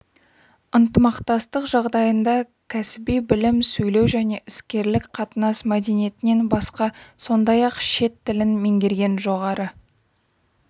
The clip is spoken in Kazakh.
ынтымақтастық жағдайында кәсіби білім сөйлеу және іскерлік қатынас мәдениетінен басқа сондай-ақ шет тілін меңгерген жоғары